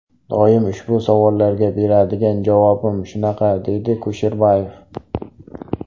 Doim ushbu savollarga beradigan javobim shunaqa”, deydi Kusherbayev.